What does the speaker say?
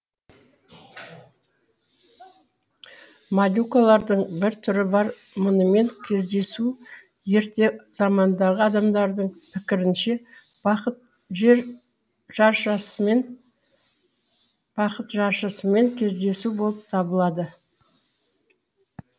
молюкалардың бір түрі бар мұнымен кездесу ерте замандағы адамдардың пікірінше бақыт жаршысымен кездесу болып табылады